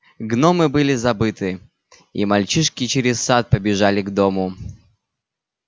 гномы были забыты и мальчишки через сад побежали к дому